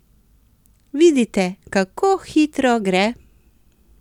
Vidite, kako hitro gre?